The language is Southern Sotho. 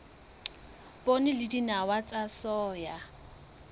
poone le dinawa tsa soya